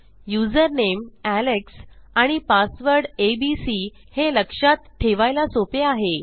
username Alex आणि password A B C हे लक्षात ठेवायला सोपे आहे